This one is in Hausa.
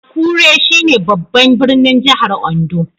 Akure, shine babban birnin jihar Ondo